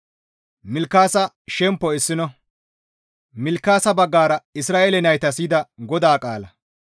Milkaasa baggara Isra7eele naytas yida GODAA qaala,